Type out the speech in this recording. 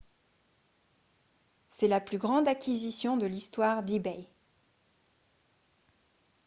c'est la plus grande acquisition de l'histoire d'ebay